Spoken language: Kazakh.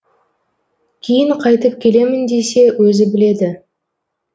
кейін қайтып келемін десе өзі біледі